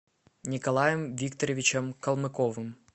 николаем викторовичем калмыковым